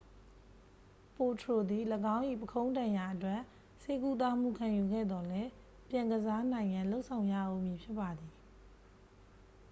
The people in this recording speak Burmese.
ပိုထရို သည် ၎င်း၏ပုခုံးဒဏ်ရာအတွက် ကုသမှုခံယူခဲ့သော်လည်း ပြန်ကစားနိုင်ရန် လုပ်ဆောင်ရဦးမည်ဖြစ်ပါသည်